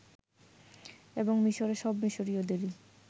এবং মিশরে সব মিশরীয়দেরই